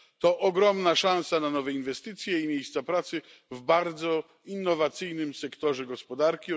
To ogromna szansa na nowe inwestycje i miejsca pracy w bardzo innowacyjnym sektorze gospodarki.